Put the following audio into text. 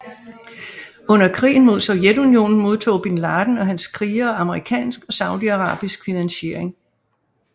Under krigen mod Sovjetunionen modtog bin Laden og hans krigere amerikansk og saudiarabisk finansiering